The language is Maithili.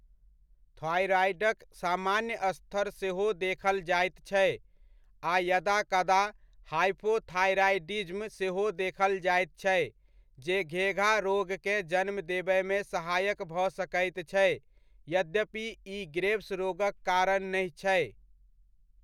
थाइरॉइडक सामान्य स्तर सेहो देखल जायत छै, आ यदा कदा हाइपोथायरायडिज्म सेहो देखल जाइत छै, जे घेङ्घा रोगकेँ जन्म देबयमे सहायक भऽ सकैत छै ,यद्यपि, ई ग्रेव्स रोगक कारण नहि छै।